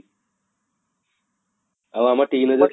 ଆଉ ଆମ teen ager ତ